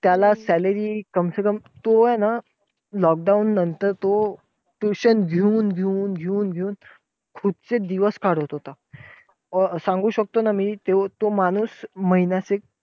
त्याला ते salary तो हे ना lockdown नंतर तो tuition घेऊन घेऊन घेऊन घेऊन खूपच दिवस काढत होता. सांगू शकतो ना मी. त्यो तो माणूस महिन्याचे